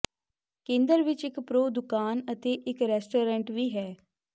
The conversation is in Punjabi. ਕੇਂਦਰ ਵਿੱਚ ਇੱਕ ਪ੍ਰੋ ਦੁਕਾਨ ਅਤੇ ਇੱਕ ਰੈਸਟੋਰੈਂਟ ਵੀ ਹੈ